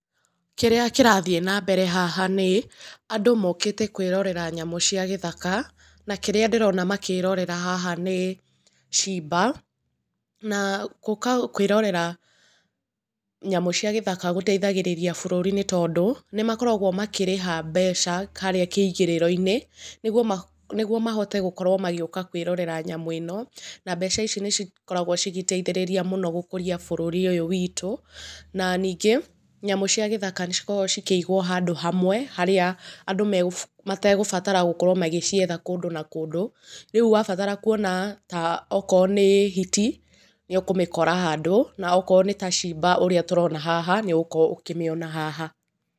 Kĩrĩa kĩrathiĩ na mbere haha nĩ, andũ mokĩte kũĩrorera nyamũ cia gĩthaka na kĩrĩa ndĩrona makĩrorera haha nĩ cimba. Na gũka kũĩrorera nyamũ cia gĩthaka gũteithagĩrĩragia bũrũri nĩtondũ nĩmakoragũo makĩrĩha mbeca harĩa kĩingĩrĩro-inĩ nĩguo mahote gũka kũĩrorera nyamũ ĩno na mbeca ici nĩ cikoragũo cigĩteithĩrĩria mũno gũkorũo cigĩkũríia bũrũri ũyũ witũ. Na ningĩ nyamũ cia gĩthaka nĩcikoragũo cikĩigũo handũ hamwe harĩa andũ metegũbatara gũkorũo magĩcietha kũndũ na kũndũ rĩu wabatara kũona ta okorũo nĩ hiti nĩ ũkũmĩkora handũ na okorũo nĩ ta cimba ũrĩa tũrona haha nĩũgũkorũo ũkĩmĩona haha.